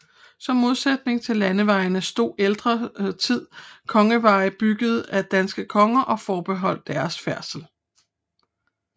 Som modsætning til landevejene stod i ældre tid kongeveje byggede af danske konger og forbeholdte deres færdsel